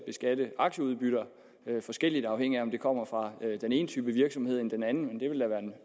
at beskatte aktieudbytter forskelligt afhængigt af om det kommer fra den ene type virksomheder eller den anden